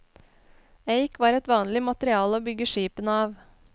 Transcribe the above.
Eik var et vanlig materiale å bygge skipene av.